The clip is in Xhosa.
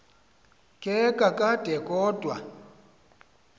ke kakade kodwa